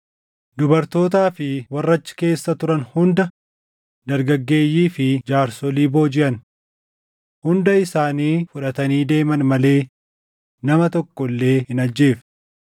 dubartootaa fi warra achi keessa turan hunda, dargaggeeyyii fi jaarsolii boojiʼan. Hunda isaanii fudhatanii deeman malee nama tokko illee hin ajjeefne.